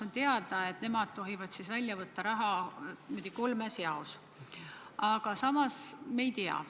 On teada, et nemad tohivad raha välja võtta kolmes jaos, aga fondi hind võib vahepeal muutuda.